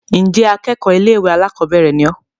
ǹjẹ́ akẹ́kọ̀ọ́ ilé-ìwé alákọ̀bẹ́ẹ́rẹ̀ ni ọ́?